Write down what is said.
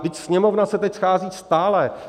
Vždyť Sněmovna se teď schází stále.